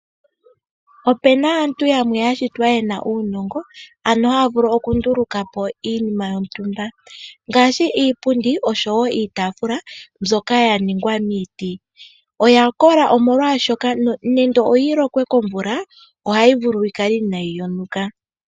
Opu na aantu yamwe ya shitwa ye na uunongo, ano haya vulu okunduluka po iinima yontumba ngaashi iipundi nosho wo iitaafula mbyoka ya ningwa miiti. Oya kola, molwashoka nenge oyi lokwe komvula ohayi vulu yi kale inaayi yonuka.